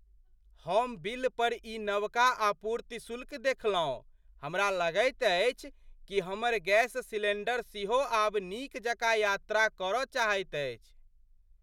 हम बिल पर ई नवका आपूर्ति शुल्क देखलहुँ। हमरा लगैत अछि कि हमर गैस सिलेंडर सेहो आब नीक जकाँ यात्रा करऽ चाहैत अछि!